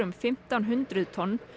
fimmtán hundruð tonn